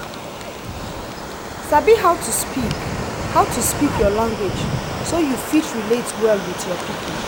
sabi how to speak how to speak your language so you fit relate well with your people